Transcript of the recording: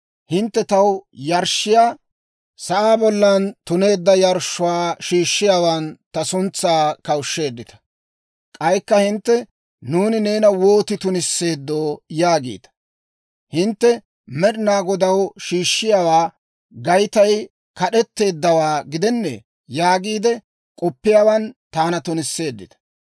Hintte taw yarshshiyaa sa'aa bollan tuneedda yarshshuwaa shiishshiyaawaan ta suntsaa kawushsheeddita. «K'aykka hintte, ‹Nuuni neena wootiide tunisseeddoo?› yaagiita. «Hintte Med'ina Godaw shiishshiyaa Gaytay kad'etteeddawaa gidennee yaagiide k'oppiyaawan taana tunisseeddita.